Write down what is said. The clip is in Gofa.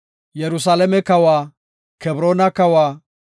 Yerusalaame kawa, Kebroona kawa,